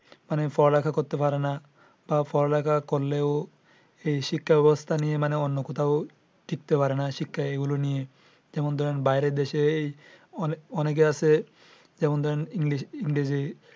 মানে পড়ালেখা করতে পারে না বা পড়ালেখা করলেও এই শিক্ষা ব্যবস্থা নিয়ে মানে অন্য কোথাও টিকতে পারে না শিক্ষা এইগুলো নিয়ে। যেমন ধরেন বাইরে দেশে এই অনেক অনেকের আছে যেমন ধরেন english ইংরেজি